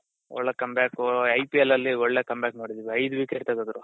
ಒಳ್ಳೆ come back IPL ಅಲ್ಲಿ ಒಳ್ಳೆ come back ನೋಡಿದಿವಿ ಐದು wicket ತೆಗ್ದ್ರು.